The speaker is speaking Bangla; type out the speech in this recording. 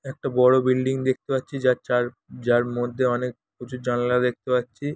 একটি বড় বিল্ডিং দেখতে পাচ্ছি যার চার-- যার মধ্যে অনেক কিছু জানালা দেখতে পাচ্ছি।